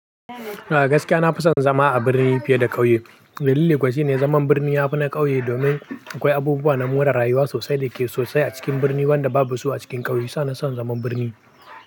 Gaskiya na fi son zama a birni fiye da ƙauye. Dalili kuwa shine zaman birni ya fi na ƙauye domin akwai abubuwa na more rayuwa sosai da ke sosai a cikin birni wanda babu su a cikin ƙauye. Sa na son zaman birni.